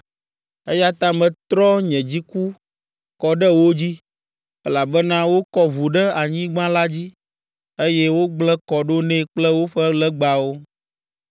Eya ta metrɔ nye dziku kɔ ɖe wo dzi, elabena wokɔ ʋu ɖe anyigba la dzi, eye wogblẽ kɔ ɖo nɛ kple woƒe legbawo.